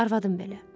Arvadım belə.